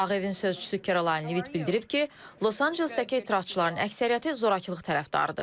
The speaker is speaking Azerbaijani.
Ağ evin sözçüsü Kərolyn Livit bildirib ki, Los-Ancelesdəki etirazçıların əksəriyyəti zorakılıq tərəfdarıdır.